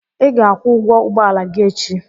I ga-akwụ ụgwọ ụgbọala gị echi!